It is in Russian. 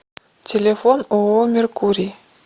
телефон ооо меркурий